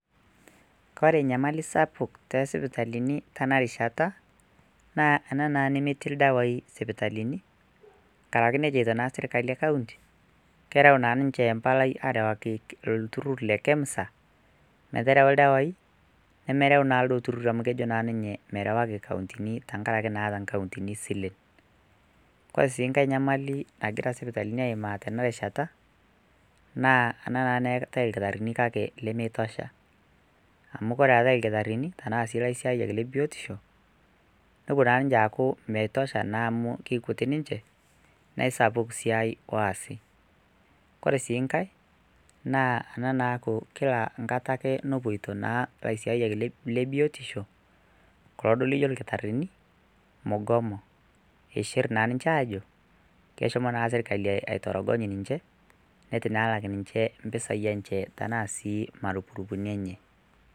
Kore enyamali sapuk te sipitalini tena rishata naa ena naa nemetii irdawaii sipitalini ng'araki netu eicho naa sirkali ekaunti, kerau naa ninche empalai aarawaki lturrurr le KEMSA meterau irdawaii, nemerau naa ilo lturrurr amu kejo ninye merawaki nkauntini teng'araki neata nkauntini silen, kore sii nkae enyamalin nagira sipitalini aimaa tena rishata naa ena naa nemeatae lkitarini kake lemeitosha, amuu kore eate lkitarini tanaa sii le siaai ebiotisho, nepo naa ninche aaku meitosha naa amuu ketiik ninche na esapuk sii esiaai oasi, kore sii enkae naa ena naaku kila nkata ake nepoito naa lesiayak le biotisho kulo duo lijo lkitarini mugomo eishirr naa ninche aajo keshomo na sirkali aitoroogny ninche neitu naa elak ninche mpesaii enche tanaa sii e marupurupu enye.